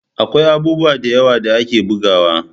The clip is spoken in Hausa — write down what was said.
Akwai abubuwa da yawa da ake bugawa